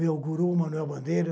Meu guru, Manuel Bandeira.